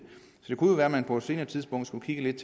kunne jo være at man på et senere tidspunkt skulle kigge lidt